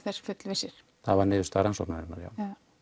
þess fullvissir það var niðurstaða rannsóknarinnar já